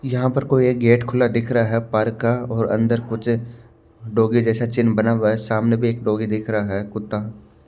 यहाँ पर कोई एक गेट खुला दिख रहा हैं पार्क का और अंदर कुछ डौगी जैसा चिन्ह बना हुआ हैं सामने भी एक डौगी दिख रहा हैं कुत्ता--